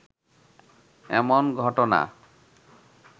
এমন ঘটনা